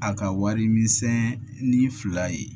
A ka wari misɛn ni fila ye